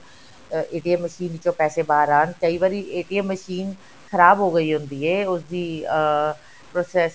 ਅਹ machine ਵਿੱਚੋਂ ਪੈਸੇ ਬਾਹਰ ਆਣ ਕਈ ਵਾਰੀ machine ਖ਼ਰਾਬ ਹੋ ਗਈ ਹੁੰਦੀ ਹੈ ਉਸਦੀ ਅਹ process